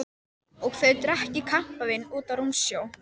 Og þau drekki kampavín úti á rúmsjó.